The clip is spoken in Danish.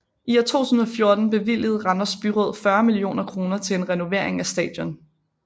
I 2004 bevilgede Randers Byråd 40 millioner kroner til en renovering af stadion